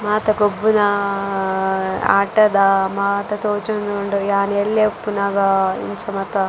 ಮಾತ ಗೊಬ್ಬುನಾ ಆಟದ ಮಾತ ತೋಜೊಂದುಂಡು ಯಾನ್ ಎಲ್ಲ್ಯ ಇಪ್ಪುನಗ ಇಂಚ ಮಾತ.